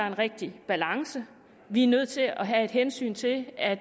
en rigtig balance vi er nødt til at tage hensyn til at